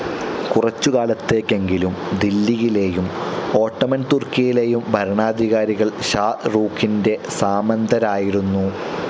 കുറച്ചു കാലത്തേക്കെങ്കിലും ദില്ലിയിലേയും ഓട്ടോമൻസ്‌ തുർക്കിയിലേയും ഭരണാധികാരികൾ ഷാഹ്‌ രൂഖിന്റെ സാമന്തരായിരുന്നു.